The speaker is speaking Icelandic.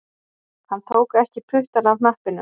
Hann tók ekki puttann af hnappinum